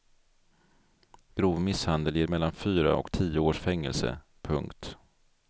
Grov misshandel ger mellan fyra och tio års fängelse. punkt